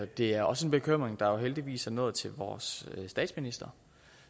det er også en bekymring der heldigvis er nået til vores statsminister